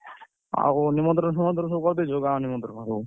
ଆଉ ନିମନ୍ତ୍ରଣ ଫିମନ୍ତ୍ରଣ ସବୁ କରିଦେଇଛ ଗାଁ ନିମନ୍ତ୍ରଣ ଯୋଉ?